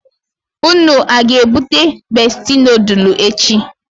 Unu a ga ebute Besti nodulu echi?